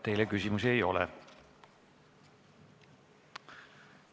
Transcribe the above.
Teile küsimusi ei ole.